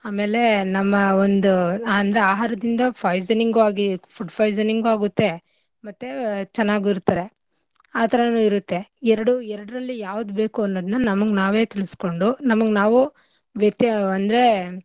ಆಮೇಲೆ ನಮ್ಮ ಒಂದು ಅಂದ್ರೆ ಆಹಾರದಿಂದ poisoning ಉ ಆಗಿ food poisoning ಉ ಆಗುತ್ತೆ ಮತ್ತೇ ಚೆನ್ನಾಗು ಇರ್ತಾರೆ. ಆಥರನೂ ಇರುತ್ತೆ ಎರಡೂ ಎರಡ್ರಲ್ಲಿ ಯಾವ್ದ್ ಬೇಕು ಅನ್ನೋದ್ನ ನಮಿಗ್ ನಾವೇ ತಿಳ್ಸ್ಕೊಂಡು ನಮಗ್ ನಾವೂ ವ್ಯತ್ಯ ಅಂದ್ರೆ.